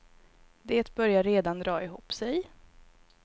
Det börjar redan dra ihop sig.